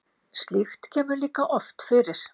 slíkt kemur líka oft fyrir